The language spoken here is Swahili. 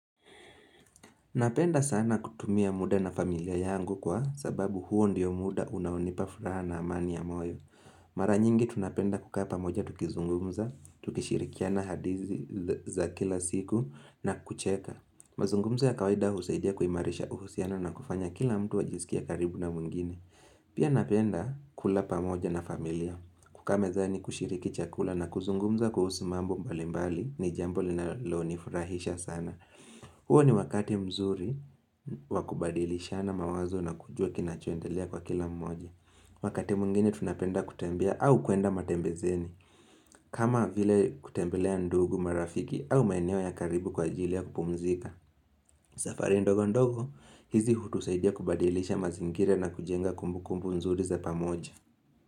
Napenda sana kutumia muda na familia yangu kwa sababu huo ndiyo muda unaonipa furaha na amani ya moyo. Mara nyingi tunapenda kukaa pamoja tukizungumza, tukishirikiana hadithi za kila siku na kucheka. Mazungumzo ya kawaida husaidia kuimarisha uhusianao na kufanya kila mtu ajisikie karibu na mwingine. Pia napenda kula pamoja na familia, kukaa mezani kushiriki chakula na kuzungumza kuhusu mambo mbali mbali ni jambo linalonifurahisha sana. Huo ni wakati mzuri wa kubadilishana mawazo na kujua kinachoendelea kwa kila mmoja Wakati mwingine tunapenda kutembea au kuenda matembezeni kama vile kutembelea ndugu marafiki au maineo ya karibu kwa ajili ya kupumzika safari ndogo ndogo hizi hutusaidia kubadilisha mazingira na kujenga kumbu kumbu nzuri za pamoja.